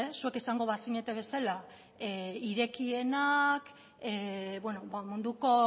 zuek izango bazinete bezala irekienak munduko